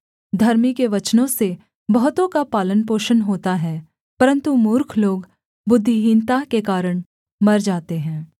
धर्मी के वचनों से बहुतों का पालनपोषण होता है परन्तु मूर्ख लोग बुद्धिहीनता के कारण मर जाते हैं